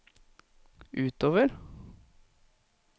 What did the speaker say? utover